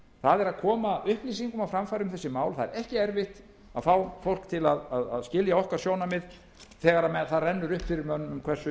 að koma upplýsingum á framfæri um þessi mál það er ekki erfitt að fá fólk til að skilja sjónarmið okkar þegar það rennur upp fyrir mönnum hversu